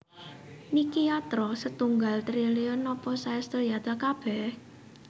Niki yatra setunggal triliun napa saestu yatra kabeh?